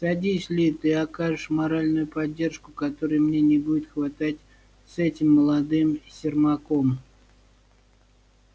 садись ли ты окажешь моральную поддержку которой мне не будет хватать с этим молодым сермаком